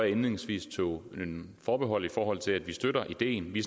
indledningsvis tog forbehold i forhold til at vi støtter ideen vi